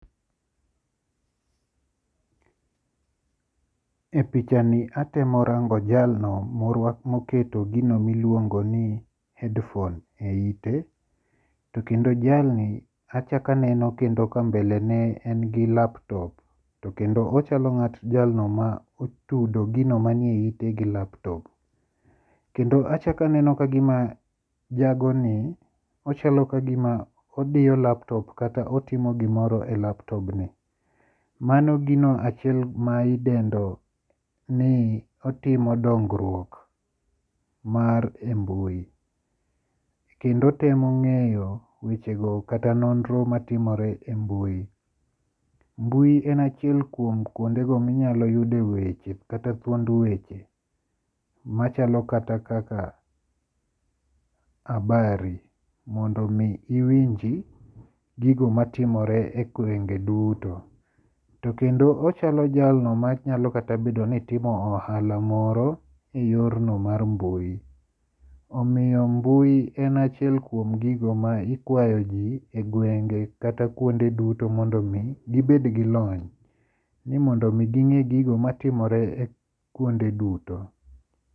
E pichani atemo rango jalno moketo gino miluongo ni headphone e ite. To kendo jalni achak aneno ka mbele ne en gi laptop. To kendo ochalo jalno motudo gino ma ni e ite gi laptop. Kendo achak aneno kagima jagoni ochalo kagima odiyo laptop kata otimo gimoro e laptobni. Mano gino achiel ma idendo ni otimo dongruok mar e mbui. Kendo otemo ng'eyo weche go kata nonro matimore e mbui. Mbui en achiel kuom kuonde go minyalo yude weche kata thuond weche. Machalo kata kaka abari. Mondo mi iwinji gigo matimore e gwenge duto. To kendo ochalo jalno manyalo kata bedo ni timo ohala moro e yorno mar mbui. Omiyo mbui en achiel kuom gigo ma ikwayo ji e gwenge kata kuonde duto mondo mi gibed gi lony. Ni mondo mi ging'e gigo matimore kuonde duto.